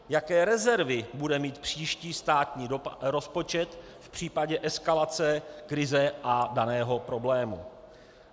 Jaké rezervy bude mít příští státní rozpočet v případě eskalace krize a dalšího problému.